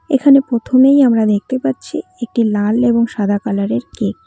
এখানে প্রথমেই আমরা দেখতে পাচ্ছি একটি লাল এবং সাদা কালারের কেক ।